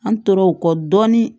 An tor'o kɔ dɔɔnin